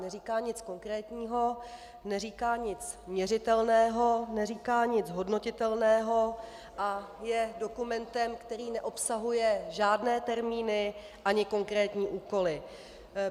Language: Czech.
Neříká nic konkrétního, neříká nic měřitelného, neříká nic hodnotitelného a je dokumentem, který neobsahuje žádné termíny ani konkrétní úkoly.